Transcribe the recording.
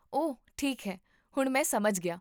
ਓਹ ਠੀਕ ਹੈ, ਹੁਣ ਮੈਂ ਸਮਝ ਗਿਆ